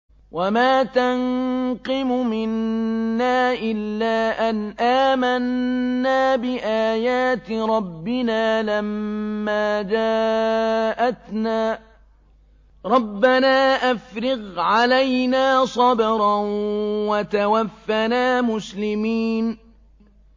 وَمَا تَنقِمُ مِنَّا إِلَّا أَنْ آمَنَّا بِآيَاتِ رَبِّنَا لَمَّا جَاءَتْنَا ۚ رَبَّنَا أَفْرِغْ عَلَيْنَا صَبْرًا وَتَوَفَّنَا مُسْلِمِينَ